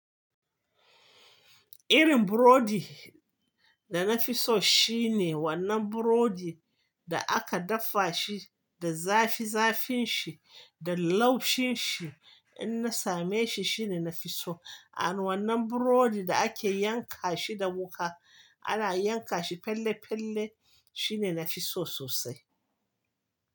Irin burodi da na fi so shine wannan burodi da aka dafa shi da zafi zafin shi da laushin shi in na same shi shine na fi so. Amma wannan burodi da ake yanka shi da wuka ana yanka shi pelle pelle shine na fi so sosai.